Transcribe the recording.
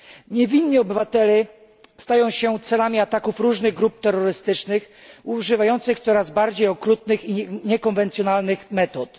Niewinni obywatele stają się celami ataków różnych grup terrorystycznych, używających coraz bardziej okrutnych i niekonwencjonalnych metod.